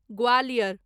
Gwalior